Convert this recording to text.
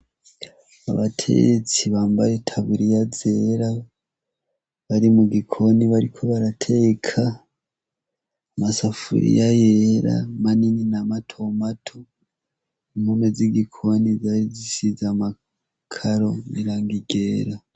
Abatetsi bambaye itaburiya zera bari mu gikoni bariko barateka masafuriye yera manini na mato mato impome z' igikoni zari zishize amakaro n' irangi ryera.